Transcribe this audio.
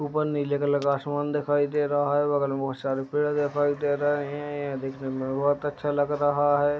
ऊपर नीले कलर का आसमान दिखाई दे रहा है बगल में बहुत सारे पेड़ दिखाई दे रहे हैं ये दिखने में बहुत अच्छा लग रह है।